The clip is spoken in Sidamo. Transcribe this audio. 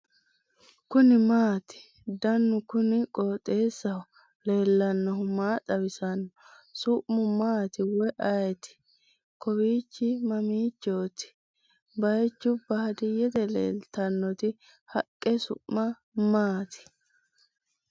kuni maati ? danu kuni qooxeessaho leellannohu maa xawisanno su'mu maati woy ayeti ? kawichi mamiichoti baychu baadiyete leeeltannoti haqqe su'ma maati ?